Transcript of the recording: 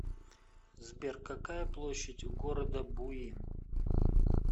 сбер какая площадь у города буин